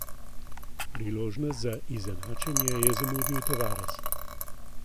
Priložnost za izenačenje je zamudil Tavares.